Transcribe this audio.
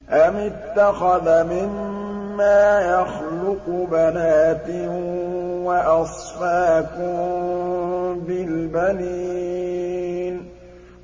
أَمِ اتَّخَذَ مِمَّا يَخْلُقُ بَنَاتٍ وَأَصْفَاكُم بِالْبَنِينَ